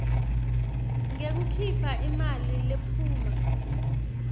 ngekukhipha imali lephuma